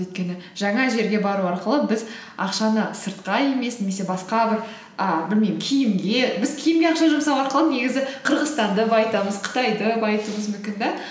өйткені жаңа жерге бару арқылы біз ақшаны сыртқа емес немесе басқа бір і білмеймін киімге біз киімге ақша жұмсау арқылы негізі қырғызстанды байытамыз қытайды байытуымыз мүмкін да